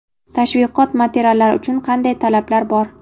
Tashviqot materiallari uchun qanday talablar bor?.